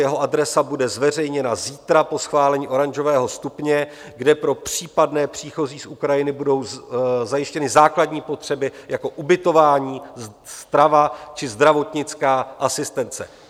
Jeho adresa bude zveřejněna zítra po schválení oranžového stupně, kde pro případné příchozí z Ukrajiny budou zajištěny základní potřeby jako ubytování, strava či zdravotnická asistence.